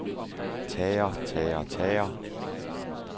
tager tager tager